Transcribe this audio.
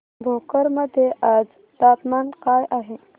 भोकर मध्ये आज तापमान काय आहे